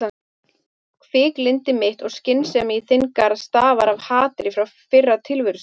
Hviklyndi mitt og sviksemi í þinn garð stafaði af hatri frá fyrra tilverustigi.